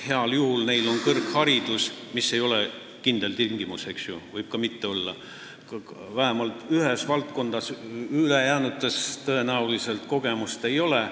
Heal juhul on neil kõrgharidus – see ei ole kindel tingimus, võib ka mitte olla – vähemalt ühes valdkonnas, ülejäänutes tõenäoliselt kogemust ei ole.